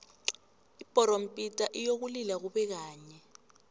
ibhorompita iyokulila kube kanye